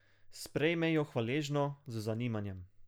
Sprejme jo hvaležno, z zanimanjem.